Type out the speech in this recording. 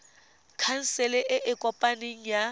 khansele e e kopaneng ya